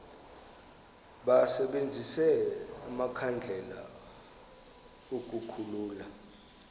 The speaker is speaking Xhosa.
basebenzise amakhandlela ukukhulula